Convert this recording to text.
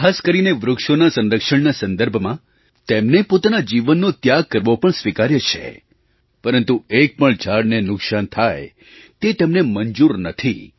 ખાસ કરીને વૃક્ષોનાં સંરક્ષણના સંદર્ભમાં તેમને પોતાના જીવનનો ત્યાગ કરવો સ્વીકાર્ય છે પરંતુ એક પણ ઝાડને નુકસાન થાય તે તેમને મંજૂર નથી